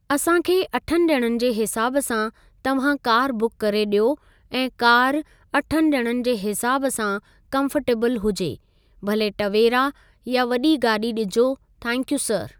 असां खे अठनि ॼणनि जे हिसाब सां तव्हां कार बुक करे ॾियो ऐं कार अठनि ॼणनि जे हिसाब सां कंफर्टेबल हुजे भले तवेरा यां वॾी गाॾी ॾिजो थैंक्यूं सर।